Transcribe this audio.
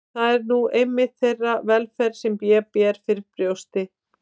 Það er nú einmitt þeirra velferð sem ég ber fyrir brjósti.